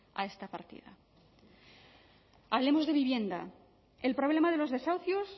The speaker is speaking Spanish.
a esta partida hablemos de vivienda el problema de los desahucios